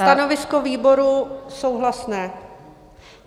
Stanovisko výboru souhlasné.